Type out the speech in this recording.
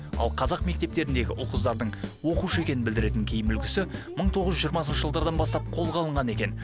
ал қазақ мектептеріндегі ұл қыздардың оқушы екенін білдіретін киім үлгісі мың тоғыз жүз жиырмасыншы жылдардан бастап қолға алынған екен